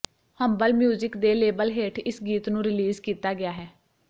humble Music ਦੇ label ਹੇਠ ਇਸ ਗੀਤ ਨੂੰ ਰਿਲੀਜ਼ ਕੀਤਾ ਗਿਆ ਹੈ